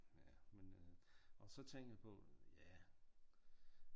Ja men øh og så tænkte jeg på ja